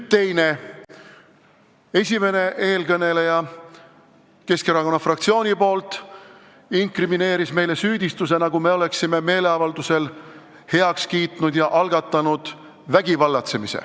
Teiseks, esimene eelkõneleja, kes rääkis Keskerakonna fraktsiooni nimel, inkrimineeris meile süüdistuse, nagu me oleksime meeleavaldusel vägivallatsemise heaks kiitnud ja algatanud.